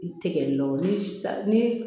I tɛgɛ lon ni sa ni